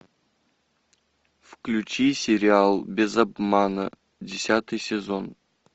включи сериал без обмана десятый сезон